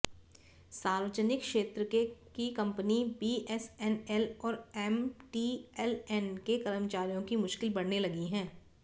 सार्वजनिक क्षेत्र की कंपनी बीएसएनएल और एमटीएलएन के कर्मचारियों की मुश्किल बढ़ने लगी है